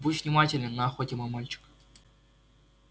будь внимателен на охоте мой мальчик